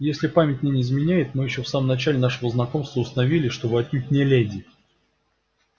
если память мне не изменяет мы ещё в самом начале нашего знакомства установили что вы отнюдь не леди